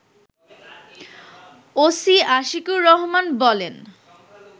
OC Ashikur Rahman বলেন